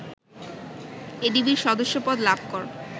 এডিবির সদস্যপদ লাভ কর